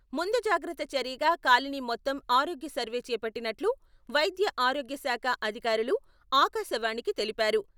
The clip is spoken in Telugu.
ముందు జాగత్ర చర్యగా కాలనీ మొత్తం ఆరోగ్య సర్వే చేపట్టినట్లు వైద్య ఆరోగ్యశాఖ అధికారులు ఆకాశవాణికి తెలిపారు.